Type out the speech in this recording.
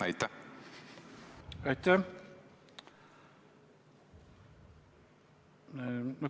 Aitäh!